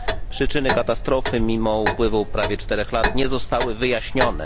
Przyczyny katastrofy, mimo upływu prawie czterech lat, nie zostały wyjaśnione.